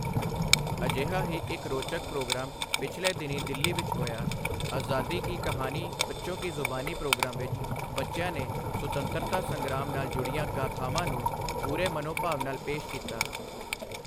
ਅਜਿਹਾ ਹੀ ਇੱਕ ਰੋਚਕ ਪ੍ਰੋਗਰਾਮ ਪਿਛਲੇ ਦਿਨੀਂ ਦਿੱਲੀ ਵਿੱਚ ਹੋਇਆ, ਆਜ਼ਾਦੀ ਕੀ ਕਹਾਨੀ ਬੱਚੋਂ ਕੀ ਜ਼ੁਬਾਨੀ ਪ੍ਰੋਗਰਾਮ ਵਿੱਚ ਬੱਚਿਆਂ ਨੇ ਸੁਤੰਤਰਤਾ ਸੰਗ੍ਰਾਮ ਨਾਲ ਜੁੜੀਆਂ ਗਾਥਾਵਾਂ ਨੂੰ ਪੂਰੇ ਮਨੋਭਾਵ ਨਾਲ ਪੇਸ਼ ਕੀਤਾ।